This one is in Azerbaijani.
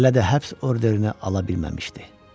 Hələ də həbs orderini ala bilməmişdi.